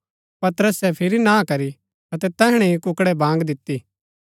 पतरसे फिरी ना करी अतै तैहणै ही कुक्कड़ै बाँग दिती